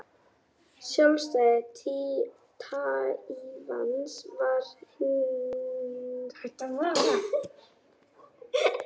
Sjálfstæði Taívans er hins vegar ekki viðurkennt og reyndar umdeilt, bæði á Taívan og alþjóðlega.